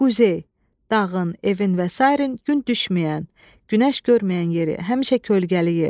Quzey, dağın, evin və sair gün düşməyən, günəş görməyən yeri, həmişə kölgəli yer.